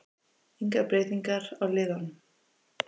Engar breytingar á liðunum